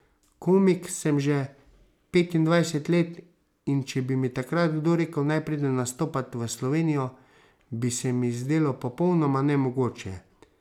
Komik sem že petindvajset let, in če bi mi takrat kdo rekel, naj pridem nastopat v Slovenijo, bi se mi zdelo popolnoma nemogoče.